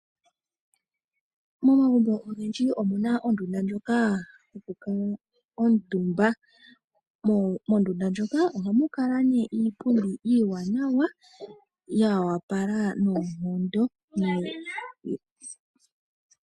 Momagumbo ogendji omuna ondunda ndjoka yoku kuutumba. Mondunda moka ohamu kala nee iipundi iiwanawa ya apala noonkondo .